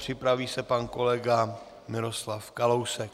Připraví se pan kolega Miroslav Kalousek.